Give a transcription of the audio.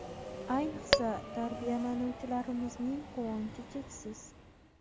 Ayniqsa, tarbiyalanuvchilarimizning quvonchi cheksiz.